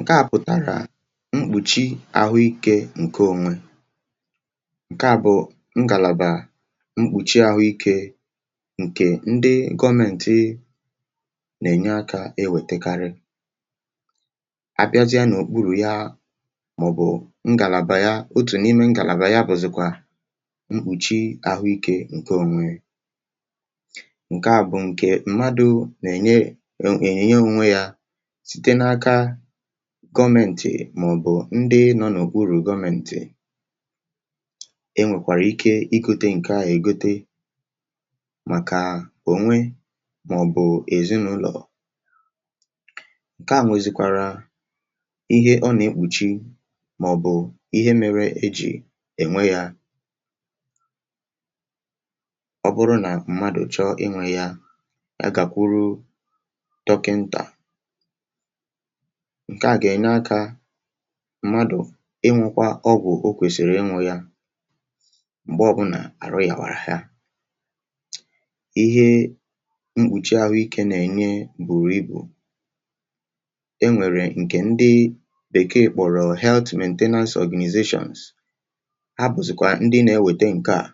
ǹke à pụ̀tàrà mkpùchi àhụ ikė ǹke ònwe um ǹke àbụ̀ ngàlàbà mkpùchi àhụ ikė ǹkè ndị gọọmentị nà-ènye akȧ e wètekarị abịazịa n’òkpuru̇ ya màọ̀bụ̀ ngàlàbà ya otù n’ime ngàlàbà ya bụ̀zị̀kwà mkpùchi àhụ ikė ǹke onwe ǹke àbụ̀ ǹke ṁmadụ̀ nà-ènye ènyìnye onwe yȧ gọmėntì màọ̀bụ̀ ndị nọ n’òkwu urù gọmėntì um e nwèkwàrà ike ikute ǹke à ègote màkà ònwe màọ̀bụ̀ èzinàụlọ̀ ǹke à nwėzìkwàrà ihe ọnà-ekpùchi màọ̀bụ̀ ihe mere ejì ènwe yȧ ọ bụrụ nà mmadụ̀ chọ ịnwė ya agàkwuru dọkịntà mmadụ̀ inwėkwȧ ọgwụ̀ o kwèsìrì inwȯ yȧ m̀gbe ọbụ nà àrụ yàwàrà ha ihe mkpùchi ahụikė nà-ènye buru ibù e nwèrè ǹkè ndị bèkee kpọ̀rọ̀ health management health ọ̀gniperns ha bụ̀zị̀kwà ndị na-ewète ǹke à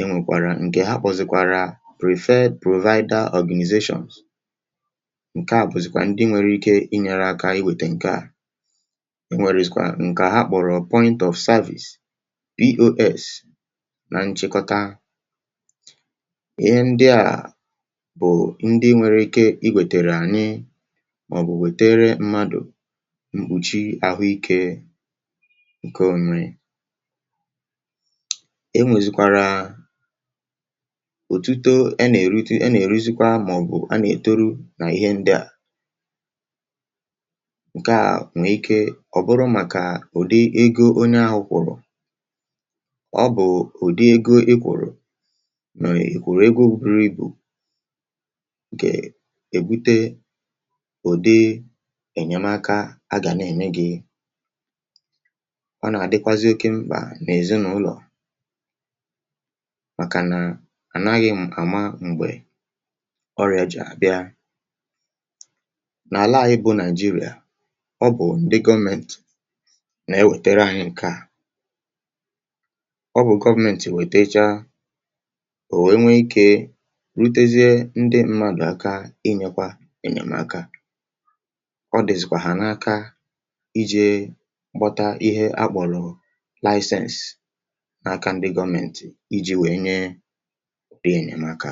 e nwèkwàrà ǹkè ha kpọ̀zị̀kwàrà prefe private organizatioṅ e nwèrèistikwaa ǹkè a ha kpọ̀rọ̀ pọ̀rọ̀ ‘point of service’ pos na nchịkọta ihe ndị à bụ̀ ndị nwere ike i wètèrè ànyị màọ̀bụ̀ wètere mmadụ̀ mkpùchi àhụikė ǹke onri e nwèzikwàrà òtuto e nà-èrute e nà-èruzikwamàọ̀bụ̀ a nà-ètoro nà ihe ndị à ǹkeà nwè ike ọ̀ bụrụ màkà ụ̀dị ego onye ahụ̇ kwụ̀rụ̀ ọ bụ̀ ụ̀dị ego egwùrù nà èkwùrù egȯ biri ibù gà-èbute ụ̀dị ènyemaka a gà na-ème gi ọ nà-àdịkwazị oke mkpà n’èzinàụlọ̀ màkà nà ànaghị̇ àma mgbè ọrị̀àjì àbịa ọ bụ̀ ndị gọmentì nà-ewètere anyị ǹke à ọ bụ̀ gọmentì wètecha bụ̀ wee nwee ikė rutezie ndị ṁmȧdụ̀ aka um inyėkwȧ enyèmaka ọ dị̀zị̀kwàhà n’aka ijė mbọta ihe akpọ̀rọ̀ lạịsensị n’aka ndị gọmentì iji̇ wee nyeè nyeè aka.